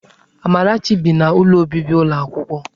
Amarachi bi n'ụlọ obibi ụlọ akwụkwọ.